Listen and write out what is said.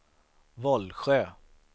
Vollsjö